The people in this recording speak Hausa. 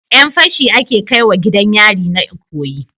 Yan fashi ake kaiwa gidan yari na ikoyi